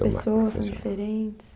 mais profissional. As pessoas são diferentes?